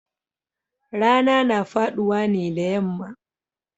Rana na faduwa ne da yamma